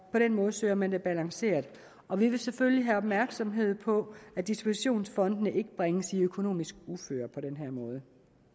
på den måde søger man det balanceret og vi vil selvfølgelig være opmærksomme på at dispositionsfondene ikke bringes i økonomisk uføre på den her måde